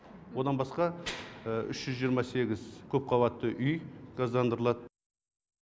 одан басқа үш жүз жиырма сегіз көп қабатты үй газдандырылады